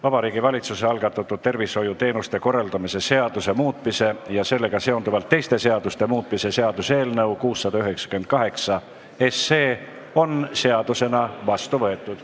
Vabariigi Valitsuse algatatud tervishoiuteenuste korraldamise seaduse muutmise ja sellega seonduvalt teiste seaduste muutmise seaduse eelnõu 698 on seadusena vastu võetud.